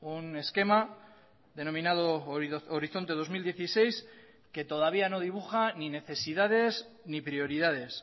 un esquema denominado horizonte dos mil dieciséis que todavía no dibuja ni necesidades ni prioridades